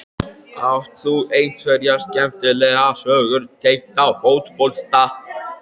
Átt þú einhverja skemmtilega sögur tengda fótbolta?